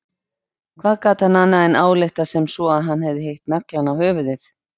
Hvað gat hann annað en ályktað sem svo að hann hefði hitt naglann á höfuðið?